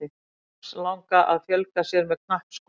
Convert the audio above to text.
Armslanga að fjölga sér með knappskoti.